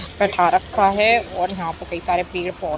रखा है और यहाँ पे कई सारे पेड़ पौधे---